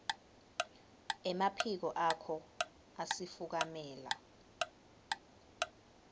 emaphiko akho asifukamela